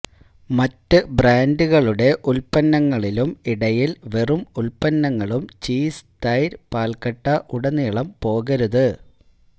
മറ്റ് ബ്രാൻഡുകളുടെ ഉൽപ്പന്നങ്ങളിലും ഇടയിൽ വെറും ഉൽപ്പന്നങ്ങളും ചീസ് തൈര് പാൽക്കട്ട ഉടനീളം പോകരുത്